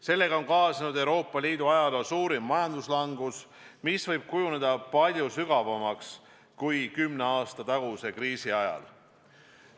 Sellega on kaasnenud Euroopa Liidu ajaloo suurim majanduslangus, mis võib kujuneda palju sügavamaks kui kümne aasta taguse kriisi ajal.